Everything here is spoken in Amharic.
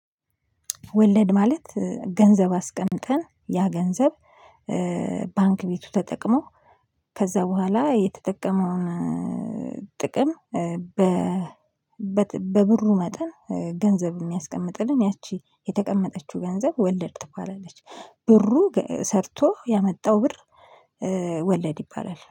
ወለድ ማለት ገንዘብ አስቀምጠን ያ ገንዘብ ባንክ ቤቱ ተጠቅሞ ከዚያ በኋላ የተጠቀመውን ጥቅም በ በብሩ መጠን ገንዘብ የሚያስቀምጥልን ያቺ የተቀመጠችው ገንዘብ ወለድ ትባላለች። ብሩ ሰርቶ ያመጣው ብር። ወለድ ይባላል